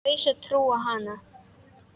Kaus að trúa á hana.